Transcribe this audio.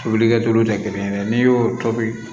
Tobilikɛtori tɛ kelen ye dɛ n'i y'o tobi